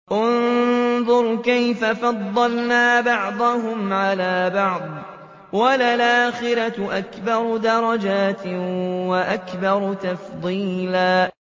انظُرْ كَيْفَ فَضَّلْنَا بَعْضَهُمْ عَلَىٰ بَعْضٍ ۚ وَلَلْآخِرَةُ أَكْبَرُ دَرَجَاتٍ وَأَكْبَرُ تَفْضِيلًا